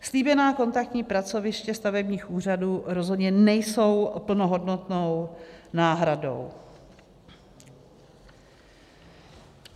Slíbená kontaktní pracoviště stavebních úřadů rozhodně nejsou plnohodnotnou náhradou.